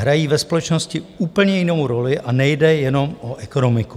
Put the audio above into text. Hrají ve společnosti úplně jinou roli a nejde jenom o ekonomiku."